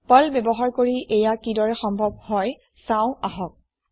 Perl ব্যৱহাৰ কৰি এয়া কিদৰে সম্ভৱ চাওঁ আহক